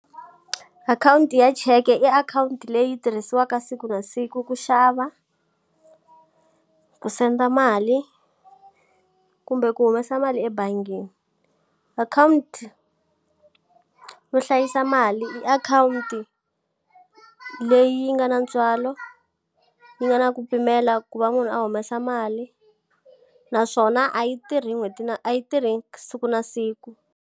Akhawunti ya cheke i akhawunti leyi tirhisiwaka siku na siku ku xava, ku send a mali, kumbe ku humesa mali ebangini. Akhawunti wo hlayisa mali i akhawunti leyi yi nga na ntswalo, yi nga na ku pimela ku va munhu a humesa mali, naswona a yi tirhi n'hweti na a yi tirhi siku na siku.